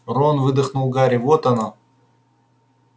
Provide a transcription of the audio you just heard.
рон выдохнул гарри вот оно